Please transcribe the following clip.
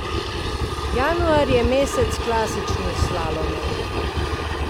Januar je mesec klasičnih slalomov.